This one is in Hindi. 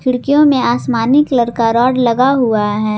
खिड़कियों में आसमानी कलर का रॉड लगा हुआ है।